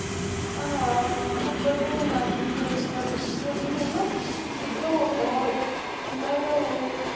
ਹਾਂ ਫੇਰ ਬਿਨਾ ਦੁੱਧ ਤੋਂ ਵੀਂ ਹੈਨਾ, ਦੁੱਧ ਹੋਵੇ ਤਾਂ ਖੁਲ੍ਹਾ ਜੇਹਾ ਹੋਵੇ